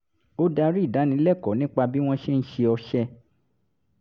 ó darí ìdánilẹ́kọ̀ọ́ nípa bí wọ́n ṣe ń ṣe ọṣẹ